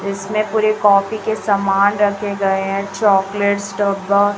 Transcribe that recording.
इसमें पूरी कॉपी के सामान रखे गए हैं चॉकलेट डब्बा--